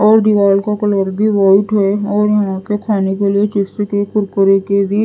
और दीवाल का कलर भी वाइट है और यहां पे खाने के लिए चिप्स के कुरकुरे के भी --